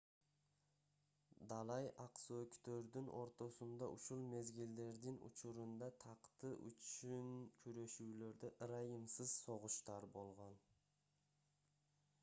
далай ак сөөктөрдүн ортосунда ушул мезгилдердин учурунда такты үчүн күрөшүүлөрдө ырайымсыз согуштар болгон